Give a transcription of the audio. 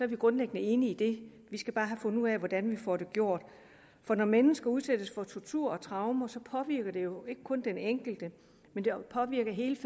vi grundlæggende enige i det vi skal bare have fundet ud af hvordan vi får det gjort når mennesker udsættes for tortur og traumer påvirker det jo ikke kun den enkelte men det påvirker hele